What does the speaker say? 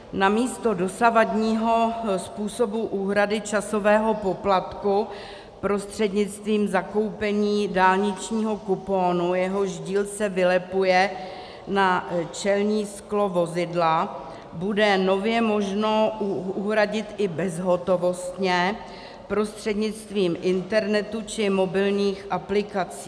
Namísto dosavadního způsobu úhrady časového poplatku prostřednictvím zakoupení dálničního kuponu, jehož díl se vylepuje na čelní sklo vozidla, bude nově možno uhradit i bezhotovostně prostřednictvím internetu či mobilních aplikací.